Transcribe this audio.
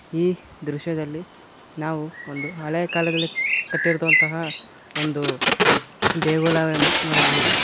ಈ ದೃಶ್ಯದಲ್ಲಿ ನಾವು ಒಂದು ಹಳೆ ಕಾಲದಲ್ಲಿ ಕಟ್ಟಿರುವಂತಹ ಒಂದು ದೇಗುಲವನ್ನು ನೋಡಬಹುದು.